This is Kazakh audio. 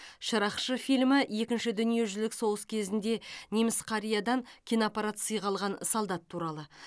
шыракшы фильмі екінші дүниежүзілік соғыс кезінде неміс қариядан киноаппарат сыйға алған солдат туралы